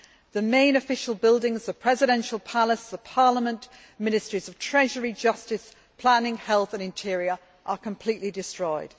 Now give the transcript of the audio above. The main official buildings, the Presidential Palace, the Parliament, Ministries of Treasury, Justice, Planning, Health and Interior are completely destroyed.